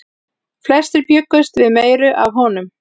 Flestir bjuggust við meiru af honum.